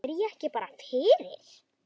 Er ég ekki bara fyrir?